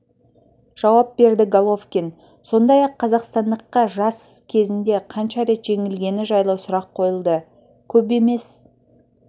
жауап берді головкин сондай-ақ қазақстандыққа жас кезінде қанша рет жеңілгені жайлы сұрақ қойылды көп емес